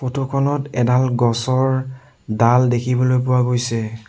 ফটোখনত এডাল গছৰ ডাল দেখিবলৈ পোৱা গৈছে।